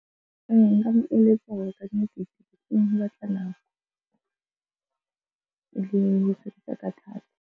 Nka mo eletsa hore ka nnete thata.